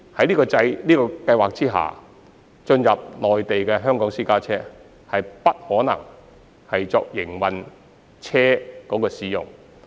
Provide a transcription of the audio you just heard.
此外，在這項計劃下，進入內地的香港私家車不可作為營運車輛使用。